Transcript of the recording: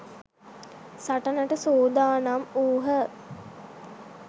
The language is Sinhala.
සටනට සූදානම් වූහ.